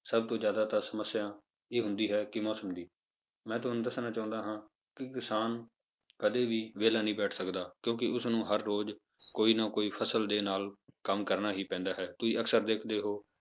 ਸਭ ਤੋਂ ਜ਼ਿਆਦਾਤਰ ਸਮੱਸਿਆ ਇਹ ਆਉਂਦੀ ਹੈ ਕਿ ਮੌਸਮ ਦੀ, ਮੈਂ ਤੁਹਾਨੂੰ ਦੱਸਣਾ ਚਾਹੁੰਦਾ ਹਾਂ ਕਿ ਕਿਸਾਨ ਕਦੇ ਵੀ ਵਿਹਲਾ ਨੀ ਬੈਠ ਸਕਦਾ ਕਿਉਂਕਿ ਉਸਨੂੰ ਹਰ ਰੋਜ਼ ਕੋਈ ਨਾ ਕੋਈ ਫਸਲ ਦੇ ਨਾਲ ਕੰਮ ਕਰਨਾ ਹੀ ਪੈਂਦਾ ਹੈ, ਤੁਸੀਂ ਅਕਸਰ ਦੇਖਦੇ ਹੋ